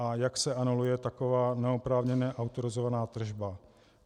A jak se anuluje taková neoprávněně autorizovaná tržba?